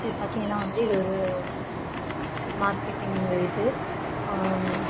இது பாத்தீங்கனா வந்து இது ஒரு மார்கெட்டிங் இது.